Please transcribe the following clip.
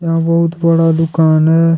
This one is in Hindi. यहां बहुत बड़ा दुकान है।